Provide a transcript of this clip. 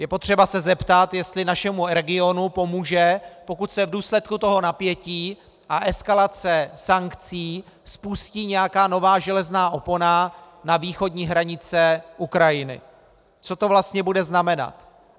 Je potřeba se zeptat, jestli našemu regionu pomůže, pokud se v důsledku toho napětí a eskalace sankcí spustí nějaká nová železná opona na východní hranice Ukrajiny, co to vlastně bude znamenat.